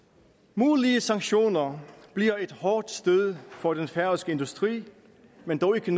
mulige sanktioner bliver et hårdt stød for den færøske industri men dog ikke